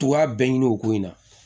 Tugu a bɛɛ ɲini o ko in na